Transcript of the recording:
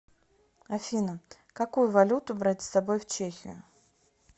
афина какую валюту брать с собой в чехию